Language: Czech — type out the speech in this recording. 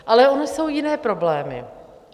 Ale ony jsou jiné problémy.